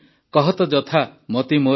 କହତ ଜଥା ମତି ମୋର